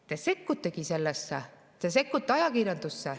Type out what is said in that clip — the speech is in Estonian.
Te sekkutegi sellesse, te sekkute ajakirjandusse.